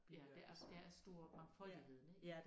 Ja der er der er stor mangfoldigheden ik